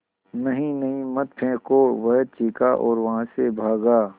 नहीं नहीं मत फेंको वह चीखा और वहाँ से भागा